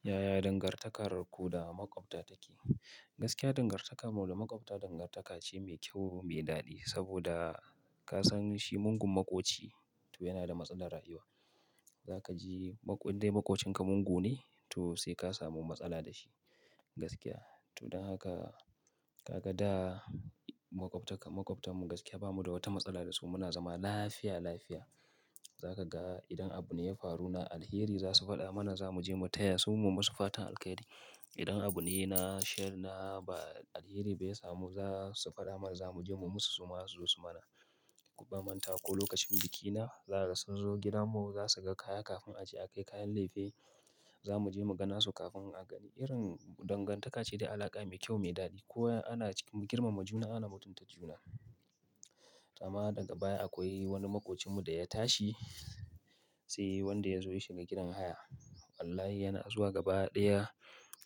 Yaya dangantakar ku da maƙwabta take? Gaskiya dangantar mu da makwanta dangantaka ne mai kyau mai dadi saboda ka san shi mugun maƙoci to yana da matsala rayuwa. Za ka ji indai maƙocinka mugu ne to sai ka samu matsala da shi, gaskiya. To don haka ka ga da maƙwabta, maƙwabtanmu gaskiya bamu da wata matsala da su. Muna zama lafiya lafiya. Za ka ga idan abu ne ya faru na alheri, za su faɗa mana za mu je mu taya su mu musu fatan alheri. Idan abu ne na sheri na ba alheri ba ya samu, za su faɗa mana za mu je mu musu su ma su zo su mana. Ban mantawa lokacin bikina zaka ga sun zo gidan mu za su ga kaya na kafin aje a kai kayan leife. Zamu je mu ga nasu kafin a kai, irin danganta ka ce da alaka mai kyau mai dadi kowa yana cikin girmama juna ana mutunta juna amma daga baya akwai wani maƙocinmu da ya tashi, sai wanda ya zo ya shiga gidan haya. Wallahi yana zuwa gaba ɗaya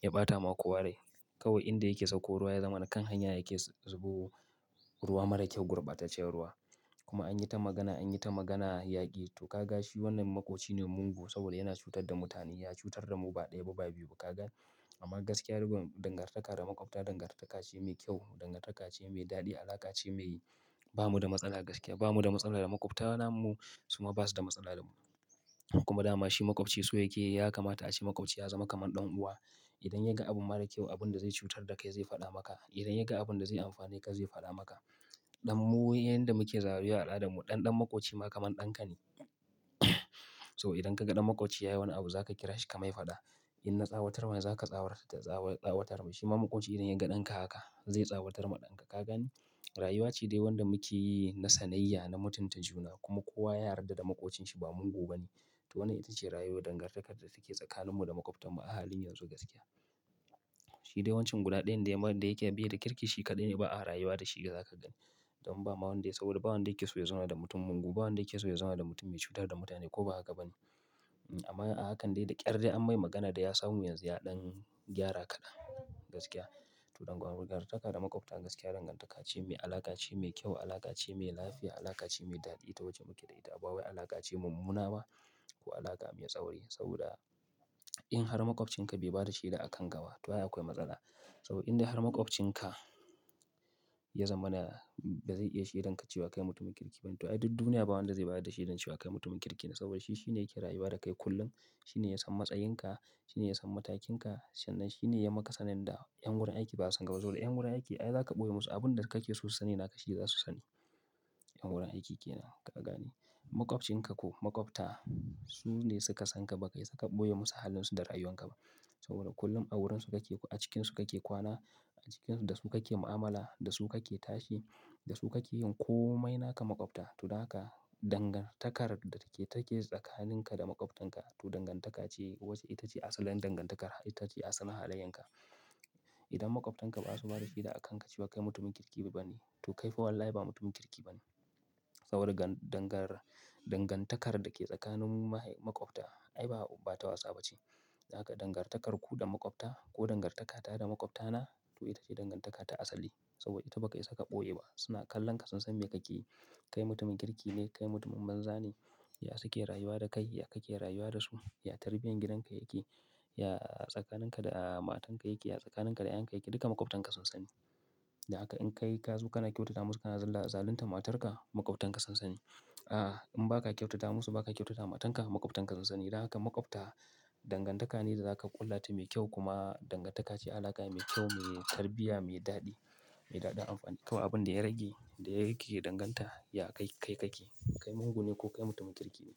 ya ɓata ma kowa rai. Kawai inda yake sauko ruwa, ya zama na kan hanya yake zuɓo ruwa marar kyau, gurbataccen ruwa. Kuma an yi ta magana, an yi ta magana yaƙi. To ka ga shi wannan maƙoci ne mugu saboda yana cutar da mutane. Ya cutar da mu ba daya ba biyu ba ka ga? Amma gaskiya rabin dangantaka da maƙwabta dangantaka ce mai kyau, dangantaka ce mai daɗi, alaƙa ce mai bamu da matsala gaskiya. Bamu da matsala da maƙwabtana mu, su ma ba su da matsala da mu. Kuma dama shi maƙwabci so yake ya kamata a ce maƙwabci ya zama kaman ɗan’uwa. Idan ya ga abu mara kyau abin da zai cutar da kai zai fada maka, idan ya ga abun da zai amfane ka zai fada maka ɗanmu, yanda muke zawo a al'adan mu, ɗan dan maƙoci ma kaman ɗanka ne. To idan kaga dan makwabci yayi wani abu zaka kira shi ka mai fada "In na tsawatar wa, za ka tsawatar da ta tsawatar ma. Shi ma maƙoci idan ya ga ɗanka haka zai tsawatar ma ɗanka. Ka gani? Rayuwa ce dai wanda muke yi na sanayya, na mutunta juna kuma kowa ya yarda da maƙocinci ba mugu ba ne. To wannan ita ce rayuwar dangantakar da take tsakaninmu da maƙwabtanmu a halin yanzu gaskiya. Shi dai wancan guda ɗayan da ya ke be da kirki shi kaɗai ne ba a rayuwa da shi, za ka ga. Don ba ma wanda, saboda ba wanda yake so ya zauna da mutum mugu, ba wanda yake so ya zauna da mutum mai cuta da mutane ko ba haka ba ne. Amma a hakan dai da ƙyar dai an mai magana da ya samu yanzu ya ɗan gyara kaɗan, gaskiya. To dangantaka da maƙwabta gaskiya dangantaka ce mai, alaƙa ce mai kyau, alaƙa ce mai lafiya, alaƙa ce mai daɗi. Ta wacce muke da ita. Ba wai alaƙa ce mummuna ba, ko alaƙa mai tsauri. Saboda in har maƙwabcinka bai bada sheda a kan gaba, to ai akwai matsala. To in har dai makwabcinka ya zamana bai zai iya shaidan ka ba kai mutum kirki bane to ai duk duniya ba wanda zai bayar da shaidar cewa kai mutumin kirki ne. Saboda shi shine yake rayuwa da kai kullum, shi ne ya san matsayinka, shi ne ya san matakinka. Sannan shi ne ya maka sanin da ƴan wurin aiki ba su ga saboda ƴan wurin aiki ai za ka ɓoye musu abin da kake so su sani naka shi za su sani. Ƴan wurin aiki ke nan, ka gani? Maƙwabcinka ko maƙwabta su ne suka san ka, baka isa ka ɓoye musu halin su da rayuwan ka ba. Saboda kullum a wurin su kake, a cikinsu kake kwana, a cikinsu da su kake mu'amala, da su kake tashi, da su kake yin komai naka maƙwabta. To dan haka dangantakar da take tsakaninka da maƙwabtanka, to dangantaka ce wacce ita ce asalin dangantakar, ita ce asalin halayenka. Idan maƙwabtanka ba su bada sheda a kanka cewa kai mutumin kirki ba ne, to kai fa wallahi ba mutumin kirki ba ne. Saboda dangantakar da ke tsakanin mu maƙwabta ai ba ta wasa ba ce. Haka dangantakar ku da maƙwabta ko dangantaka ta da maƙwabtana to ita ce dangantaka ta asali. Saboda ita ba ka isa ka ɓoye ba. Suna kallon ka sun san me kake yi. Kai mutumin kirki ne, kai mutumin banzane. Ya suke rayuwa da kai? Ya kake rayuwa da su? Ya tarbiyyar gidan ka yake? Ya tsakaninka da matanka yake? Ya tsakaninka da ƴaƴanka yake? Duka maƙwabtanka sun sani. Haka in kai ka zo kana kyautata musu kana zalunta matarka, maƙwabtanka sun sani. A, in ba ka kyautata musu, ba ka kyautata matanka, maƙwabtanka sun sani. Don haka maƙwabta dangantaka ne da za ka ƙulla ta mai kyau kuma dangantaka ce alaƙa mai kyau, mai tarbiyya, mai daɗi, mai daɗin amfani. Ko abin da ya rage da yake danganta, ya kai, kai kake. Kai mugu ne ko kai mutumin kirki ne?